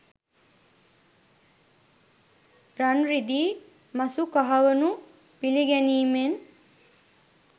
රන්, රිදී, මසු කහවනු පිළිගැනීමෙන්